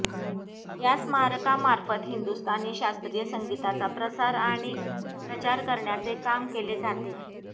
या स्मारकामार्फत हिंदुस्तानी शास्त्रीय संगीताचा प्रसार आणि प्रचार करण्याचे काम केले जाते